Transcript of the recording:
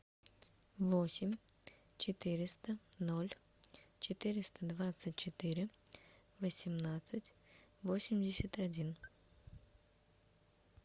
восемь четыреста ноль четыреста двадцать четыре восемнадцать восемьдесят один